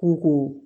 Kungo